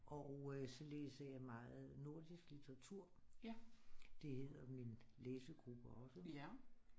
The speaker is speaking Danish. Og så læser jeg meget nordisk litteratur det hedder min læsegruppe også